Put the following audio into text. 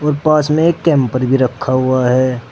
और पास में एक कैंपर भी रखा हुआ है।